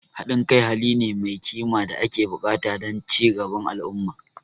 Haɗin kai hali ne mai kima da ake buƙata don ci gaban al'umma.